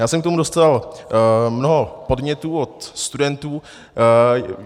Já jsem k tomu dostal mnoho podnětů od studentů.